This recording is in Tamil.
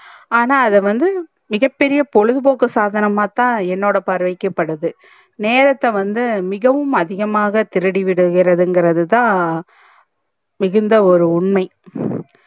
ஆனா அத வந்து மிகபெரிய பொழுது போக்கு சாதனமாதா என்னோட பார்வைக்கு தெறிது நேரத்த வந்து மிகவும் அதிகமாக திருடிவிடுகிறது இங்கறது தா மிகுந்த ஒரு உண்மை